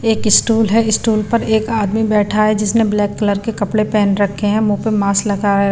एक स्टॉल है स्टॉल पर एक आदमी बैठा है जिसने ब्लैक कलर के कपड़े पहन रखे हैं मुंह पर मास्क लगाया--